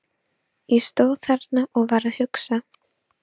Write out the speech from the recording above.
Ég stóð þarna og var að hugsa.